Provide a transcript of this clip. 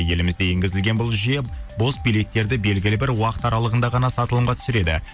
елімізде енгізілген бұл жүйе бос билеттерді белгілі бір уақыт аралығында ғана сатылымға түсіреді